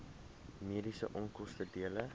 mediese onkoste dele